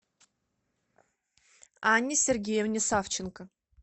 анне сергеевне савченко